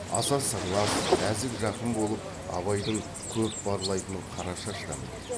аса сырлас нәзік жақын болып абайдың көп барлайтын қарашаш та міне